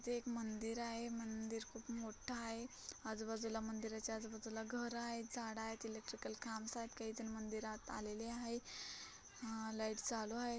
इथ एक मंदिर आहे मंदिर खूप मोठ आहे आजूबाजूला मंदिराच्या आजूबाजूला घर आहेत झाड आहेत इलेक्ट्रिकल खांब्स आहेत काहीजण मंदिरात आलेले आहे अ लाईट चालू आहेत.